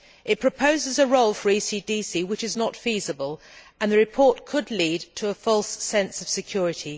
It proposes a role for the ECDC which is not feasible, and it could lead to a false sense of security.